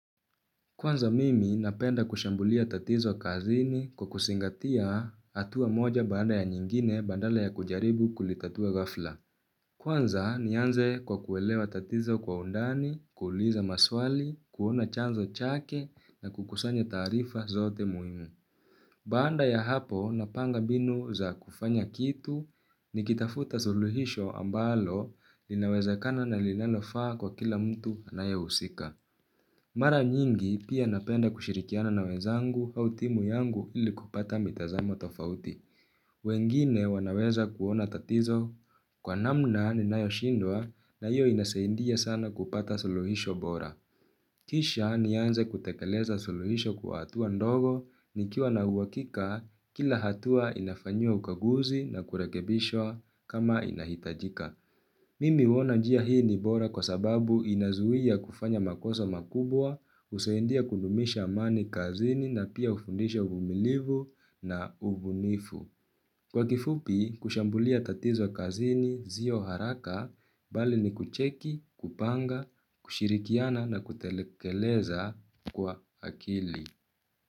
Kwanza mimi napenda kushambulia tatizo kazini kwa kusingatia hatua moja baada ya nyingine badala ya kujaribu kulitatua gafla. Kwanza nianze kwa kuelewa tatizo kwa undani, kuuliza maswali, kuona chanzo chake na kukusanya taarifa zote muhimu. Baada ya hapo napanga mbinu za kufanya kitu nikitafuta suluhisho ambalo linawezekana na linalofaa kwa kila mtu anayehusika. Mara nyingi pia napenda kushirikiana na wenzangu au timu yangu ili kupata mitazamo tofauti. Wengine wanaweza kuona tatizo kwa namna ninayoshindwa na hiyo inasaidia sana kupata suluhisho bora. Kisha nianze kutekeleza suluhisho kwa hatua ndogo nikiwa nauhakika kila hatua inafanyiwa ukaguzi na kurekebishwa kama inahitajika. Mimi huona njia hii ni bora kwasababu inazuia kufanya makosa makubwa, usaidia kudumisha amani kazini na pia ufundisha uvumilivu na ubunifu. Kwa kifupi, kushambulia tatizo kazini zio haraka, bali ni kucheki, kupanga, kushirikiana na kutelekeleza kwa akili.